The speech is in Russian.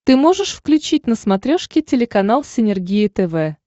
ты можешь включить на смотрешке телеканал синергия тв